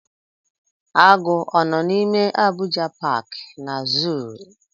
Agụ ọ nọ n'ime Abuja paaki na zuu?